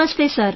Namaste sir